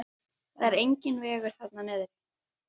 Það er enginn vegur þarna niðri.